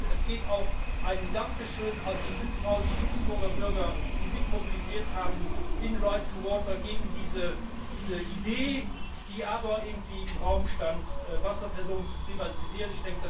Und es geht auch ein Dankeschön an die 5000 luxemburgischen Bürger, die mitmobilisiert haben in Right2Water gegen diese Idee, die doch irgendwie im Raum stand, Wasserversorgung zu privatisieren.